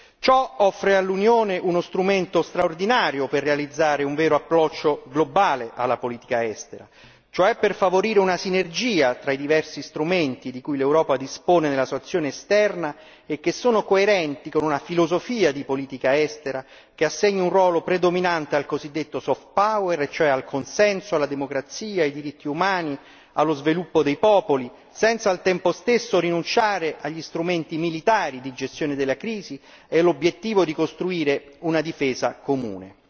Ciò offre all'Unione uno strumento straordinario per realizzare un vero approccio globale alla politica estera, cioè per favorire una sinergia tra i diversi strumenti di cui l'Europa dispone nella sua azione esterna e che sono coerenti con una filosofia di politica estera che assegni un ruolo predominante al cosiddetto soft power cioè al consenso, alla democrazia, ai diritti umani, allo sviluppo dei popoli, senza al tempo stesso a rinunciare agli strumenti militari di gestione della crisi e l'obiettivo di costruire una difesa comune.